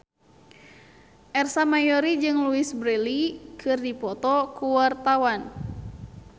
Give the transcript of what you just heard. Ersa Mayori jeung Louise Brealey keur dipoto ku wartawan